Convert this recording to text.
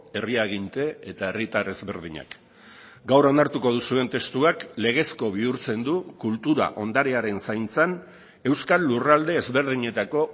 herri aginte eta herritar ezberdinak gaur onartuko duzuen testuak legezko bihurtzen du kultura ondarearen zaintzan euskal lurralde ezberdinetako